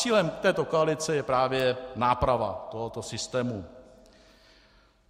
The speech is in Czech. Cílem této koalice je právě náprava tohoto systému.